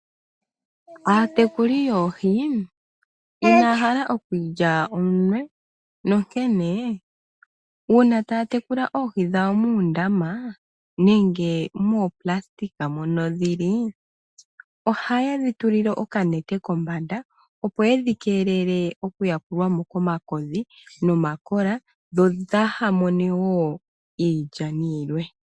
Aatekuli yoohi inaya hala okwiilya ominwe nonkene uuna taya tekula oohi dhawo muundama nenge moonayilona mono dhili, ohaye dhi tulile okanete kombanda opo yedhi keelele oku yakulwa mo komakodhi nomakola dho dhaaha mone wo iilyani yilwe.